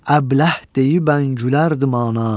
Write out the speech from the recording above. Əbləh deyibən gülərdim ona.